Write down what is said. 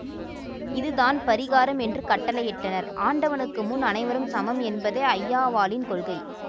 இதுதான் பரிகாரம் என்று கட்டளை இட்டனர் ஆண்டவனுக்கு முன் அனைவரும் சமம் என்பதே ஐயாவாளின் கொள்கை